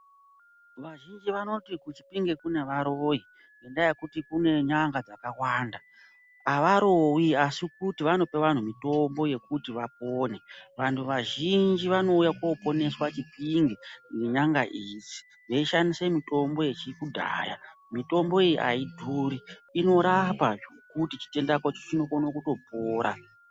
Vazhinji vanoti kuChipinge kune varoyi ngendaa yekuti kune n'anga dzakawanda. Havarowi asi kuti vanope vanhu mutombo yekut vapone. Vantu vazhinji vanouya koponeswa Chipinge nen'anga idzi veishandise mitombo yekudhaya. Mitombo iyi haidhuri, inorapa zvekuti chitenda chako chinokono kutopora.